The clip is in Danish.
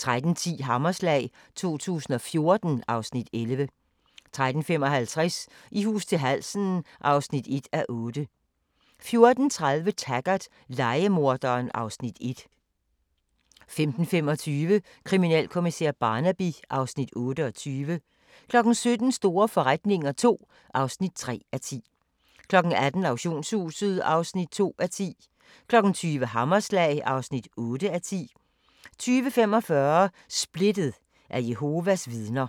13:10: Hammerslag 2014 (Afs. 11) 13:55: I hus til halsen (1:8) 14:30: Taggart: Lejemorderen (Afs. 1) 15:25: Kriminalkommissær Barnaby (Afs. 28) 17:00: Store forretninger II (3:10) 18:00: Auktionshuset (2:10) 20:00: Hammerslag (8:10) 20:45: Splittet – af Jehovas Vidner